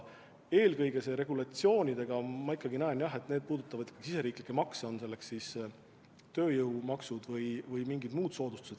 Regulatsioonide puhul ma näen, et need puudutavad eelkõige riigisiseseid makse, on nendeks soodsad tööjõumaksud või mingid muud soodustused.